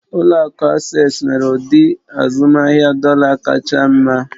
Ụlọ akụ Asés nwere ụdị azụmahịa dọ̀là r kacha mma